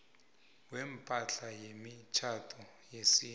kwepahla yemitjhado yesintu